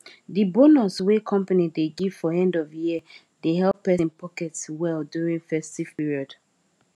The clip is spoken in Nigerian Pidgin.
the bonus wey company dey give for end of year dey help person pocket well during festive period